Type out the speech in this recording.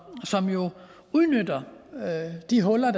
udnytter de huller